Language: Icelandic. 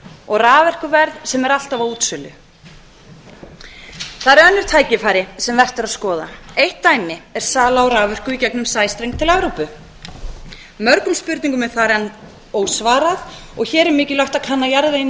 og raforkuverð sem er alltaf á útsölu það eru önnur tækifæri sem vert er að skoða eitt dæmi er sala á raforku í gegnum sæstreng til evrópu mörgum spurningum er þar enn ósvarað og hér er mikilvægt að kanna jarðveginn